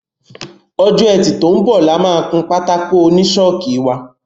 Ọjọ́ Ẹtì tó ń bọ̀ la máa kun pátákó oní ṣọ́ọ̀kì wa.